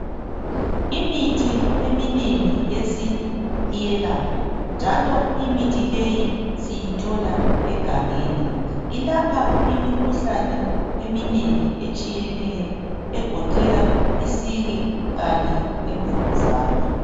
Imithi eminengi yesintu iyelapha njalo imithi leyi siyithola egangeni. Ilapha imikhuhlane eminengi etshiyeneyo, egoqela isiki kanye lemvukuzane.